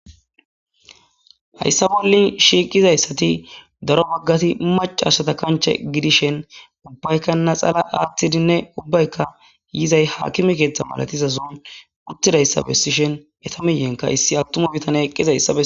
hayssa bollin shiiqizayssati daro baggati macashata kanche gidishen ubbaykanna xala aaththidinne ubbayka yizay haakimi keeththa malatiza zuun uttidayssa bessishhen eta miyenka issi attuma bitane eqqizayssae